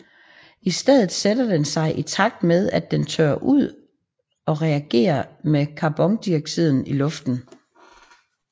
I stedet sætter den sig i takt med at den tørrer ud og reagerer med carbondioxiden i luften